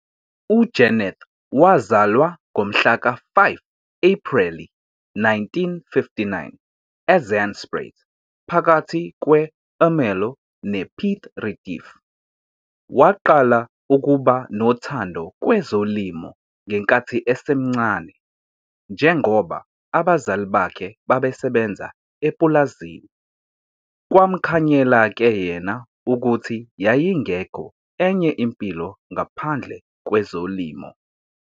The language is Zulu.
UJeneth wazalwa ngomhla ka-5 Ephreli 1959 eZandspruit phakathi kwe-Ermelo ne-Piet Retief. Waqala ukuba nothando kwezolimo ngenkathi esemncane njengoba abazali bakhe babesebenza epulazini. Kwamkhanyela ke yena ukuthi yayingekho enye impilo ngaphandle kwezolimo.